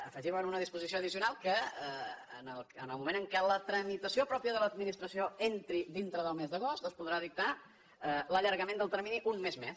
afegim en una disposició addicional que en el moment en què la tramitació pròpia de l’administració entri dintre del mes d’agost es podrà dictar l’allargament del termini un mes més